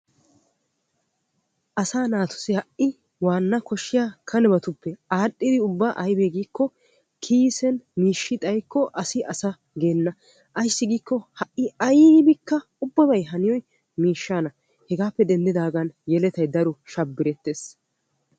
Asaa naatussi waana kane koshiyaabatuppe adhdhidaage aybbe giikko kiissen mishshi xayikko asi asaa geenna ayssi giiko ubbabay haniyoy miishshanna.